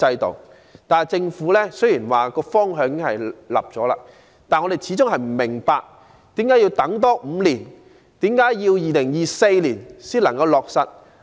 雖然政府已訂立方向，但我們始終不明白為何要多等5年，在2024年才能落實。